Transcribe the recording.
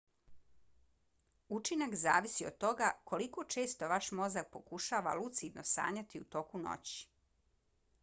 učinak zavisi od toga koliko često vaš mozak pokušava lucidno sanjati u toku noći